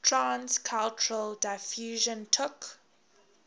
trans cultural diffusion took